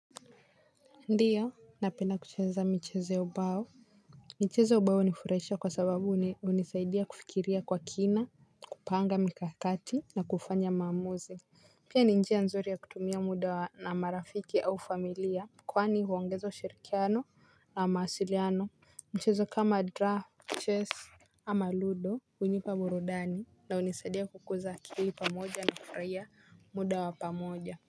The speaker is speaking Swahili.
Ndiyo napenda kucheza michezo ya ubao. Michezo ya ubao hunifuraisha kwa sababu hunisaidia kufikiria kwa kina. Kupanga mikakati na kufanya maamuzi. Pia ni njia nzuri ya kutumia muda na marafiki au familia. Kwani huongeza ushirikiano na mawasiliano. Mchezo kama draft chess ama ludo hunipa burudani na hunisaidia kukuza akilii pamoja na kufuraia muda wa pamoja.